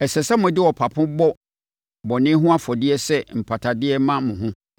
Ɛsɛ sɛ mode ɔpapo bɔ bɔne ho afɔdeɛ sɛ mpatadeɛ ma mo ho.